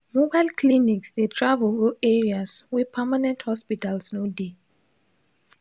mobile clinics dey travel go areas where permanent hospitals no dey